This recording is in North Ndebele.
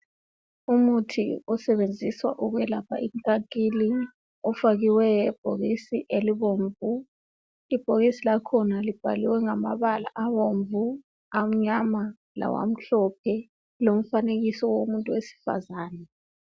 umuthi osetshenziswa ukulapha inkankili ufakiwe ebhokisini elibomvu ibhokisi lakhona libhaliwe ngamabala abomvu amanyama lawamhlophe lomfanekiso womuntu wesifazana